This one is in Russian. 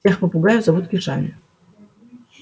всех попугаев зовут кешами